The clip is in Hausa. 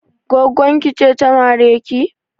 Gwaggon ki ce ta mare ki?